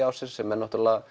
ársins sem eru